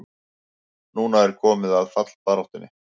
Núna er komið að fallbaráttunni!